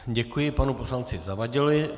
Děkuji panu poslanci Zavadilovi.